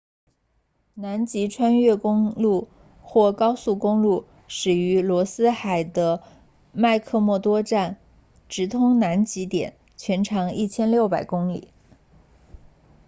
南极穿越公路 south pole traverse 或高速公路始于罗斯海的麦克默多站 mcmurdo station 直通南极点全长1600公里